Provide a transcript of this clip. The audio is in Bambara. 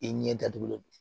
I ɲɛ datugulen